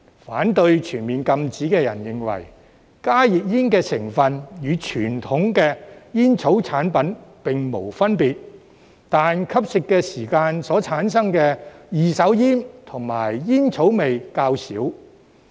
反對全面禁止的人認為，加熱煙的成分與傳統煙草產品並無分別，但吸食時產生的二手煙和煙草味較少。